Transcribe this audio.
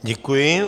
Děkuji.